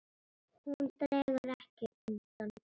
Hún dregur ekkert undan.